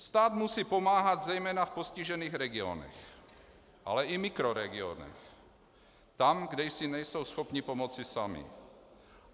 Stát musí pomáhat zejména v postižených regionech, ale i mikroregionech, tam, kde si nejsou schopni pomoci sami.